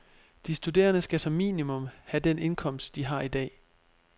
De studerende skal som minimum have den indkomst, de har i dag.